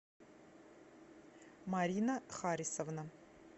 марина харисовна